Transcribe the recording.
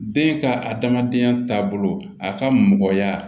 Den ka adamadenya taabolo a ka mɔgɔya